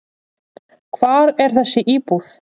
Hvar er þessi íbúð?